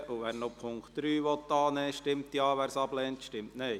Wer den Punkt 3 annehmen will, stimmt Ja, wer diesen ablehnt, stimmt Nein.